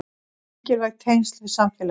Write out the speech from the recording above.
Mikilvæg tengsl við samfélagið